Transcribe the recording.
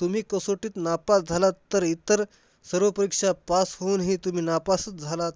तुम्ही कसोटीत नापास झालात तरी तर, सर्व परीक्षा pass होऊन हि तुम्ही नापास झालात,